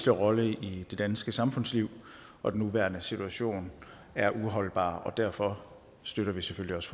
rolle i det danske samfundsliv og den nuværende situation er uholdbar derfor støtter vi selvfølgelig også